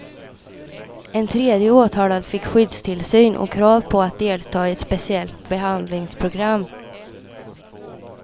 En tredje åtalad fick skyddstillsyn och krav på att delta i ett speciellt behandlingsprogram.